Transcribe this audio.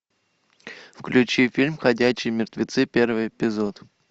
включи фильм ходячие мертвецы первый эпизод